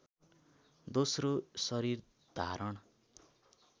दोस्रो शरीर धारण